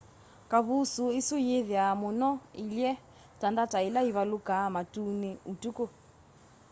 kavusuu isu yiithiwa muno iilye ta ndata ila ivalukaa matuni utuku